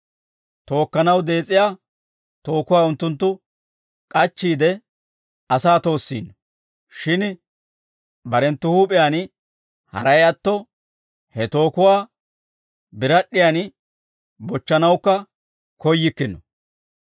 Tookkanaw dees'iyaa tookuwaa unttunttu k'achchiide, asaa toossiino; shin barenttu huup'iyaan haray atto, he tookuwaa birad'd'iyan bochchanawukka koyyikkino.